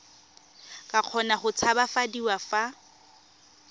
ka kgona go tshabafadiwa fa